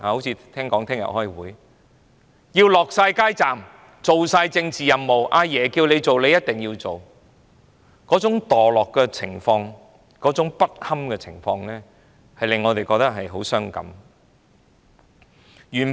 聽說明天要開會，也要設立街站，完成政治任務，總之"阿爺"要做的便一定要做，其墮落和不堪的情況令我們感到很傷感。